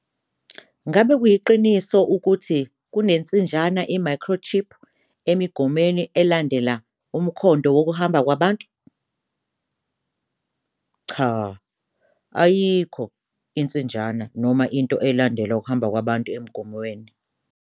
Umbuzo- Ngakube kuyiqiniso ukuthi kunensinjana i-microchip emigomweni, elandela umkhondo wokuhamba kwabantu? Impendulo- Cha. Ayikho insinjana noma into elandela ukuhamba kwabantu emigomweni.